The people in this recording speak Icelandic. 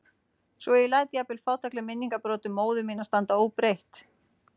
Svo ég læt jafnvel fátækleg minningabrot um móður mína standa óbreytt.